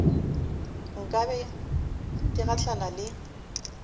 nka be ke gahlane le